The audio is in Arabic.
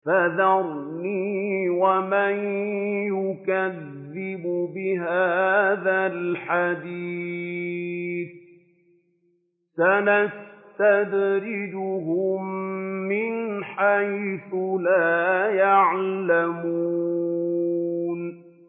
فَذَرْنِي وَمَن يُكَذِّبُ بِهَٰذَا الْحَدِيثِ ۖ سَنَسْتَدْرِجُهُم مِّنْ حَيْثُ لَا يَعْلَمُونَ